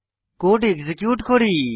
code execute করি